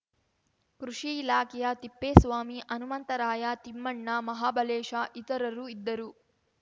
ಕೃಷಿ ಇಲಾಖೆಯ ತಿಪ್ಪೇಸ್ವಾಮಿ ಹನುಮಂತರಾಯ ತಿಮ್ಮಣ್ಣ ಮಹಾಬಲೇಶ ಇತರರು ಇದ್ದರು